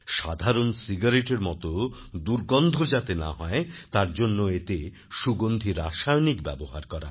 সাধারণ cigaretteএর মতো দুর্গন্ধ যাতে না হয় তার জন্য এতে সুগন্ধী রাসায়নিক ব্যবহার করা হয়